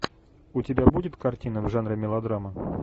у тебя будет картина в жанре мелодрама